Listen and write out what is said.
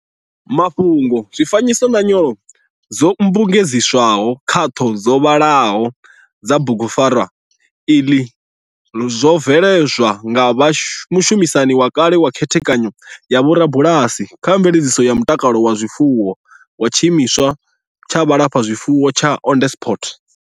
Mafhungo, zwifanyiso na nyolo dzo mmbugedziswaho khaṱho dzo vhaḽaho dza bugupfarwa iḽi zwo veledzwa nga mushumisani wa kale kha Khethekanyo ya Vhorubalasi kha Mveledziso ya Mutakalo wa Zwifuwo wa Tshimiswa tsha Vhulafhazwifuwo tsha Onderstepoort.